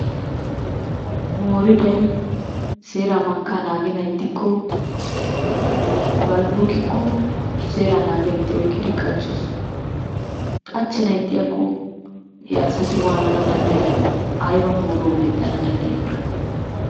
Mooriday seera mankka naagenan ixxikko, balbbuqikko seera naagiyaageeti oyqqidi qachchoosona, qachchenan ixxiyaako he asati waanana danddayyiyoona? Aybba mooruwa mwdhdhana danddayyiyoona?